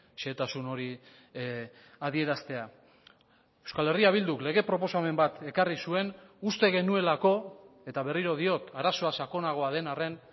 xehetasun hori adieraztea euskal herria bilduk lege proposamen bat ekarri zuen uste genuelako eta berriro diot arazoa sakonagoa den arren